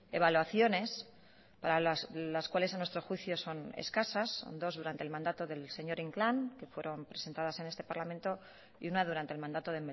evaluaciones para las cuales a nuestro juicio son escasas dos durante el mandato del señor inclán que fueron presentadas en este parlamento y una durante el mandato